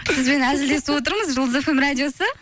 сізбен әзілдесіп отырмыз жұлдыз фм радиосы